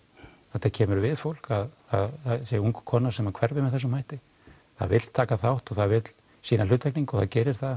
þetta kemur við fólk að það sé ung kona sem hverfi með þessum hætti það vill taka þátt og það vill sýna hluttekningu og það gerir það